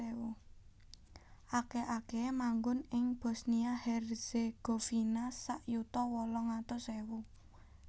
Akèh akèhé manggon ing Bosnia Herzegovina sak yuta wolung atus ewu